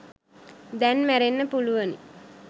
දැන් මැරෙන්න පුළුවනි.